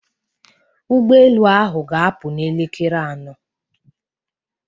ụgbọ elu ahụ ga-apụ n'elekere anọ